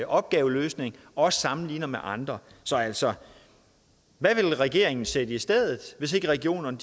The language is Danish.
opgaveløsning og sammenligner med andre så altså hvad vil regeringen sætte i stedet hvis ikke regionerne